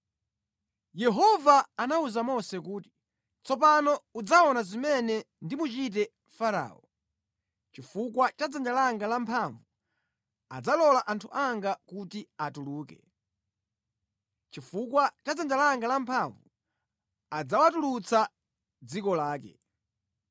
Yehova anawuza Mose kuti, “Tsopano udzaona zimene ndimuchite Farao: Chifukwa cha dzanja langa lamphamvu adzalola anthu anga kuti atuluke. Chifukwa cha dzanja langa lamphamvu adzawatulutsa mʼdziko lake.”